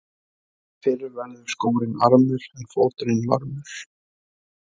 Fyrr verður skórinn armur en fóturinn varmur.